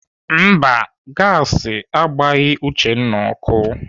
Mba, gasi agbaghị Uchenna ọkụ.